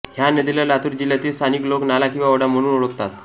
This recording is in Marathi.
ह्या नदीला लातूर जिल्ह्यातील स्थानिक लोक नाला किंवा ओढा म्हणून ओळखतात